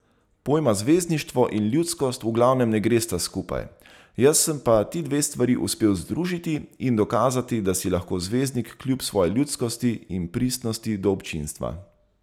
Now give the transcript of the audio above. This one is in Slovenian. Pojma zvezdništvo in ljudskost v glavnem ne gresta skupaj, jaz sem pa ti dve stvari uspel združiti in dokazati, da si lahko zvezdnik kljub svoji ljudskosti in pristnosti do občinstva.